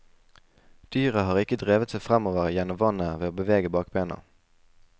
Dyret har ikke drevet seg fremover gjennom vannet ved å bevege bakbena.